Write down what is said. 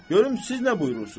Görüm siz nə buyurursuz?